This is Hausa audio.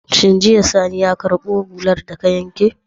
Shin jiya sani ya karbo hular daka wanki?